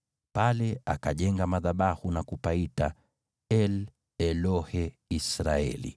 Pale akajenga madhabahu na kupaita El-Elohe-Israeli.